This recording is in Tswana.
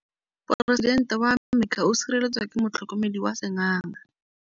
Poresitêntê wa Amerika o sireletswa ke motlhokomedi wa sengaga.